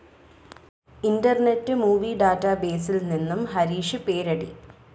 internet movie ഡാറ്റാബേസിൽ നിന്ന് ഹരീഷ് പേരടി